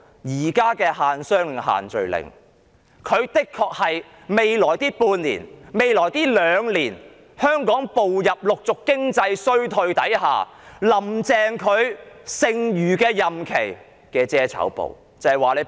現時的限商令及限聚令的確是未來半年甚或兩年間香港逐漸步入經濟衰退時"林鄭"在剩餘任期內的遮醜布。